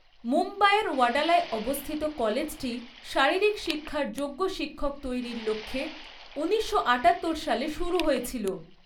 মুম্বাইয়ের ওয়াডালায় অবস্থিত কলেজটি শারীরিক শিক্ষার যোগ্য শিক্ষক তৈরির লক্ষ্যে ঊনিশশো আঠাত্তর সালে শুরু হয়েছিল।